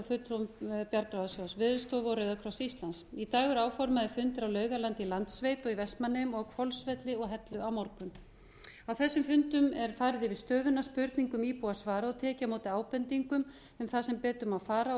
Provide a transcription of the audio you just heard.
fulltrúum bjargráðasjóðs veðurstofu og rauðakross íslands í dag eru áformaðir fundir á laugalandi í landssveit í vestmannaeyjum á hvolsvelli og hellu á morgun á þessum fundum er farið yfir stöðuna spurningum íbúa svarað og tekið á móti ábendingum um það sem betur má fara og